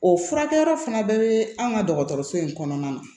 O furakɛyɔrɔ fana bɛɛ be an ka dɔgɔtɔrɔso in kɔnɔna na